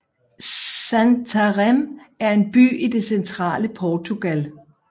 Santarém er en by i det centrale Portugal